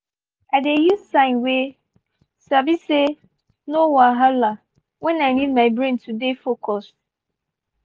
i dey use sign wey sabi say 'no wahala' when i need my brain to dey focus.